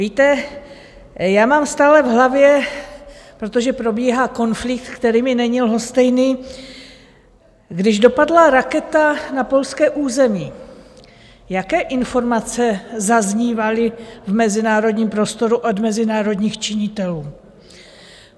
Víte, já mám stále v hlavně - protože probíhá konflikt, který mi není lhostejný - když dopadla raketa na polské území, jaké informace zaznívaly v mezinárodním prostoru od mezinárodních činitelů?